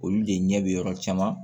Olu de ɲɛ bɛ yɔrɔ caman